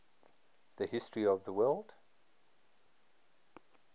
the history of the word